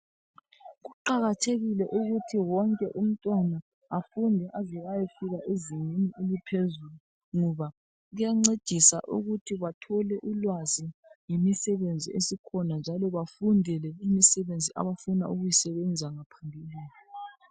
Kuqakathekile ukuthi wonke umntwana afunde aze ayefika ezingeni eliphezulu ngoba kuyancedisa ukuthi bathole ulwazi lemisebenzi esikhona njalo bafundele imisebenzi abafuna ukuyisebenza .